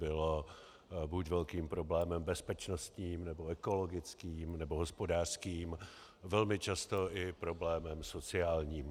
Bylo buď velkým problémem bezpečnostním, nebo ekologickým, nebo hospodářským, velmi často i problémem sociálním.